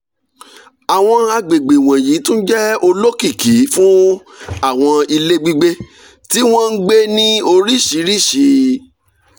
àwọn àgbègbè wọ̀nyí tún jẹ́ olokiki fún àwọn ilé gbígbé tí wọ́n ń gbé ní oríṣiríṣi